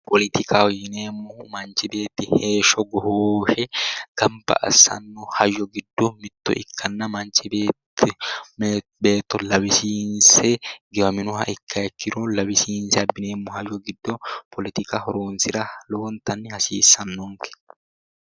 Poletikaho yineemohu manichi heesho goshooshe ganibba assano hayyo Giddo mitto ikkana manichi beetto lawisiinise giwaminoha ikkiha ikkiro lawisiinise abbineemo hayyo giddo poletika horonisira lowonittanihasiisannonike